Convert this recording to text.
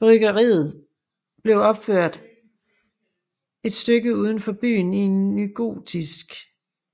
Bryggeriet blev opført et stykke uden for byen i en nygotisk